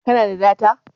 Ka na da data?